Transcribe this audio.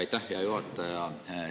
Aitäh, hea juhataja!